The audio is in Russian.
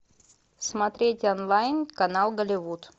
смотреть онлайн канал голливуд